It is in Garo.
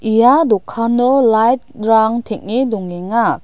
ia dokano light-rang teng·e dongenga.